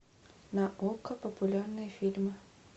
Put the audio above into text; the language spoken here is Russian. на окко популярные фильмы